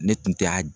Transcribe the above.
Ne tun tɛ a